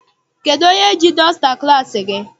Kedụ onye ji dọsta klassi gị?